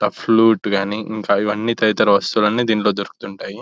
ఇక్కడ కనిపిస్తున్న బొమ్మలో మనకొక కొట్టు కనిపిస్తుంది. అలాగే ఆ షాపింగ్ మాల్ పేరు ఫ్యాక్టరీ అని ఒక--